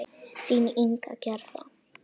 Þín Inga Gerða.